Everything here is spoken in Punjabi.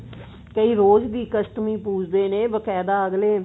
ਕਈ ਰੋਜ ਵੀ ਇੱਕ ਅਸ਼ਟਮੀ ਪੁਜਦੇ ਨੇ ਬਕਾਇਦਾ ਅਗਲੇ